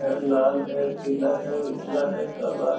यह लाल है पीला है उजला है काला है ।